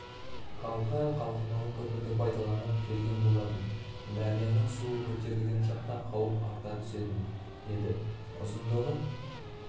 халқы қалқымалы көпірді пайдаланып келген болатын дарияның суы көтерілген шақта қауіп арта түсетін еді ұзындығы